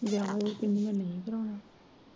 ਵਿਆਹ ਵਿਓ ਕਹਿੰਦੀ ਮੈਂ ਨਹੀਂ ਕਰਾਉਣਾ।